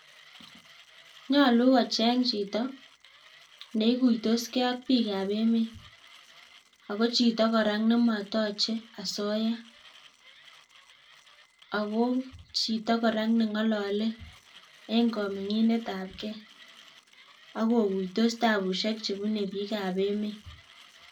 Nyolu kocheng chito neikuitoskee ak biik ab emet ako chito kora nemotoche asoya, ako chito kora nengolole en kominginet abgee ak kokuitos tabusiek chebune biik ab emet